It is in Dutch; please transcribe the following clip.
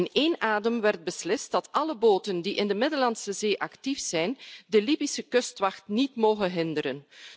In één adem werd beslist dat alle boten die in de Middellandse Zee actief zijn de Libische kustwacht niet mogen hinderen.